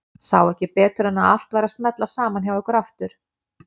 Sá ekki betur en að allt væri að smella saman hjá ykkur aftur.